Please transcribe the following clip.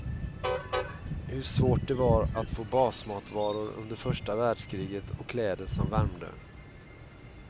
Hur svårt det var att få basmatvaror under första världskriget och kläder som värmde.